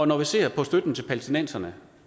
når vi ser på støtten til palæstinenserne